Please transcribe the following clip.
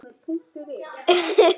Hann sagðist vera með